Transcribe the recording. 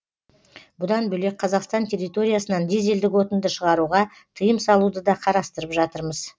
бұдан бөлек қазақстан территориясынан дизельдік отынды шығаруға тыйым салуды да қарастырып жатырмыз